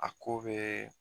A ko bɛ